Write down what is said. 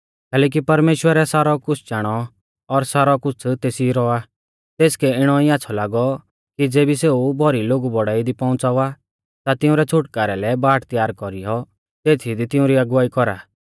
कैलैकि परमेश्‍वरै सारौ कुछ़ चाणौ और सारौ कुछ़ तेसी रौ आ तेसकै इणौ ई आच़्छ़ौ लागौ कि ज़ेबी सेऊ भौरी लोगु बौड़ाई दी पौउंच़ावा ता तिंउरै छ़ुटकारै लै बाट त्यार कौरीयौ तेथी दी तिउंरी अगुवाई कौरा